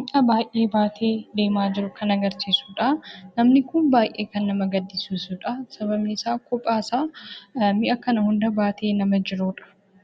mi'a baay'ee baatee deemaa jiru kan agarsiisudha. Namni kun baay'ee kan nama gaddisiisudha. Sababni isaa kophaa isaa mi'a kana baatee nama jirudha.